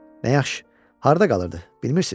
Nə yaxşı, harda qalırdı, bilmirsiz?